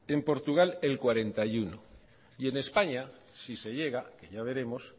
en portugal el cuarenta y uno y en españa si se llega que ya veremos